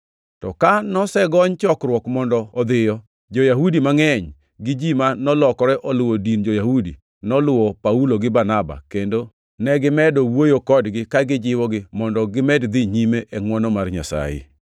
To ka nosegony chokruok mondo odhiyo, jo-Yahudi mangʼeny gi ji ma nolokore oluwo din jo-Yahudi noluwo Paulo gi Barnaba, kendo negimedo wuoyo kodgi ka gijiwogi mondo gimed dhi nyime e ngʼwono mar Nyasaye.